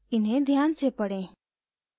इन्हें ध्यान से पढ़ें